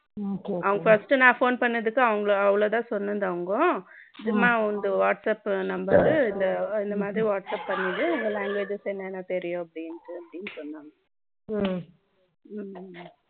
அவங்க first நான் phone என்னதுக்கு அவங்க அவ்வளவுதான் சொன்னது அவங்க இதுதான் உனது whatsapp number ரு இந்த மாதிரி whatsapp பன்னிரு languages என்ன என்ன தெரியும்ட்டு சொன்னான்